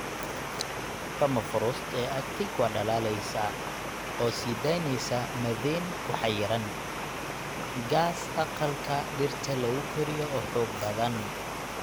Permafrost ee Arctic waa dhalaalaysaa, oo sii daynaysa methane ku xayiran, gaas aqalka dhirta lagu koriyo oo xoog badan.